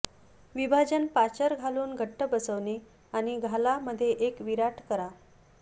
विभाजन पाचर घालून घट्ट बसवणे आणि घाला मध्ये एक विराट करा